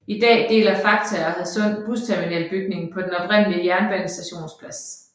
I dag deler Fakta og Hadsund Busterminal bygningen på den oprindelige jernbanestations plads